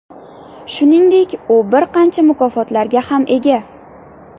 Shuningdek, u bir qancha mukofotlarga ham ega.